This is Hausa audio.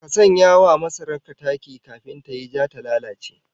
Ka sanya wa masarar ka taki kafin tayi ja ta lalace